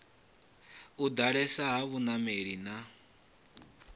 u ḓalesa ha vhanameli na